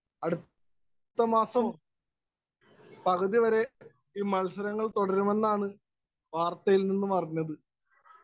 Speaker 1 അടുത്ത മാസം പകുതി വരെ ഈ മത്സരങ്ങള്‍ തുടരുമെന്നാണ് വാര്‍ത്തയില്‍ നിന്നുമറിഞ്ഞത്.